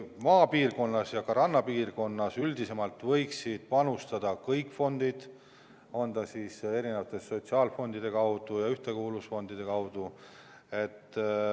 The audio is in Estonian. Maapiirkonnas ja ka rannapiirkonnas võiksid panustada kõik fondid, on need siis erinevad sotsiaalfondid või ühtekuuluvusfondid.